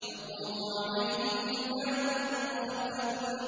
يَطُوفُ عَلَيْهِمْ وِلْدَانٌ مُّخَلَّدُونَ